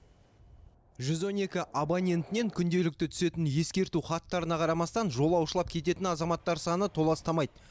жүз он екі абонентінен күнделікті түсетін ескерту хаттарына қарамастан жолаушылап кететін азаматтар саны толастамайды